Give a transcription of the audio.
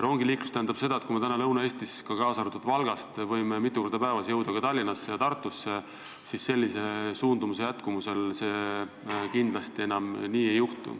See tähendab seda, et kui me praegu võime Lõuna-Eestist, kaasa arvatud Valgast, sõita mitu korda päevas rongiga Tallinnasse ja Tartusse, siis sellise suundumuse jätkumisel see kindlasti enam nii ei ole.